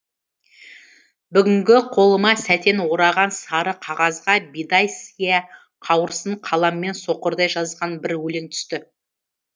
бүгінгі қолыма сәтен ораған сары қағазға бидай сия қауырсын қаламмен соқырдай жазған бір өлең түсті